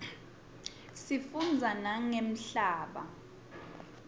sifundza nangemhlaba